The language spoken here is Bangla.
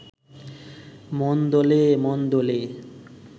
মন দোলে…মন দোলে